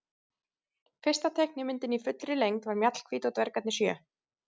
Fyrsta teiknimyndin í fullri lengd var Mjallhvít og dvergarnir sjö.